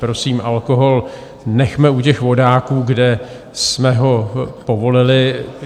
Prosím, alkohol nechme u těch vodáků, kde jsme ho povolili.